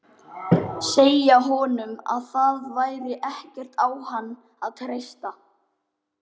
Segja honum að það væri ekkert á hann að treysta.